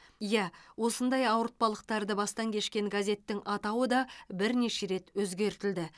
иә осындай ауыртпалықтарды бастан кешкен газеттің атауы да бірнеше рет өзгертілді